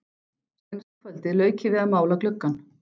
Seinasta kvöldið lauk ég við að mála gluggann.